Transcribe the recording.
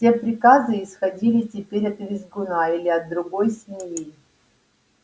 все приказы исходили теперь от визгуна или от другой свиньи